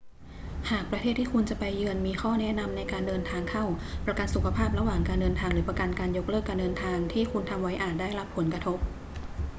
หากประเทศที่คุณจะไปเยือนมีข้อแนะนำในการเดินทางเข้า ประกันสุขภาพระหว่างการเดินทางหรือประกันการยกเลิกการเดินทางที่คุณทำไว้อาจได้รับผลกระทบ